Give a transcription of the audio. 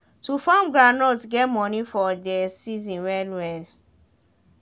to farm groundnut get money for dey season well well